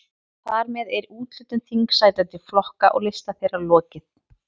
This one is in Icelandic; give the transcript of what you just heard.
Þar með er úthlutun þingsæta til flokka og lista þeirra lokið.